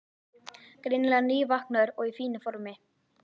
Greinilega nývaknaður og í fínu formi.